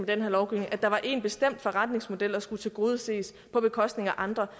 den her lovgivning at der var en bestemt forretningsmodel der skulle tilgodeses på bekostning af andre